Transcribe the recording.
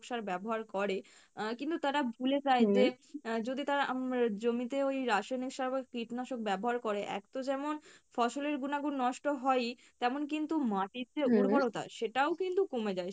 সার ব্যাবহার করে আহ কিন্তু তারা ভুলে যায় যে, যদি তারা উম জমিতে ওই রাসায়নিক সার বা কীটনাশক ব্যাবহার করে এক তো যেমন ফসলের গুনা গুন নষ্ট হয়ই তেমন কিন্তু মাটির যে উর্বরতা, সেটাও কিন্তু কমে যায়